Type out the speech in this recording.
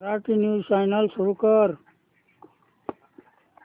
Marathi news channel सुरू कर